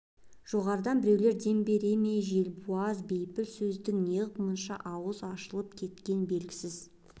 жоғарыдан біреулер дем бере ме желбуаз бейпіл сөздің неғып мұнша аузы ашылып кеткен белгісіз